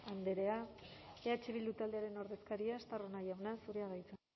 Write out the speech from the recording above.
andrea eh bildu taldearen ordezkaria estarrona jauna zurea da hitza